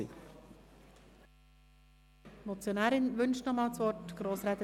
Die Motionärin hat nochmals das Wort.